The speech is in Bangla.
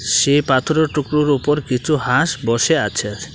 সে পাথরের টুকরোর ওপর কিছু হাঁস বসে আছে।